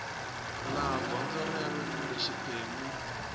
laha gondzo rero kumbe xiphemu